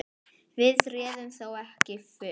Við réðum þó ekki för.